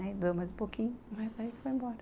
Aí doeu mais um pouquinho, mas aí foi embora.